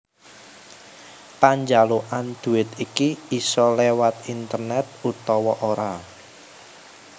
Panjalukan duwit iki isa léwat internet utawa ora